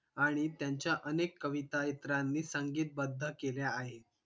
आणि त्यांच्या अनेक कविता इतरांनी संगीतबद्ध केल्या आहेत